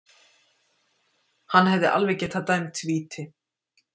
Hann hefði alveg getað dæmt víti.